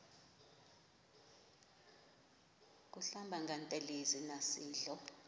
kuhlamba ngantelezi nasidlo